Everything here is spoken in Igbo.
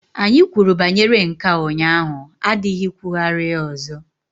Anyị kwuru banyere nke a ụnyaahụ adịghị ikwugharị ya ọzọ!